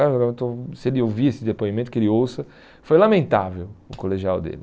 Se ele ouvir esse depoimento, que ele ouça, foi lamentável o colegial dele.